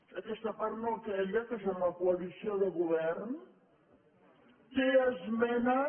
aquesta part no aquella que són la coalició del govern té esmenes